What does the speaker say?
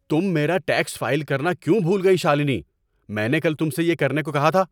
تم میرا tax file کرنا کیوں بھول گئی، شالنی؟ میں نے کل تم سے یہ کرنے کو کہا تھا۔